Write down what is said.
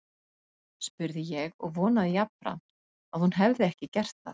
spurði ég og vonaði jafnframt að hún hefði ekki gert það.